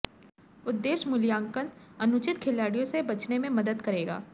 उद्देश्य मूल्यांकन अनुचित खिलाड़ियों से बचने में मदद करेगा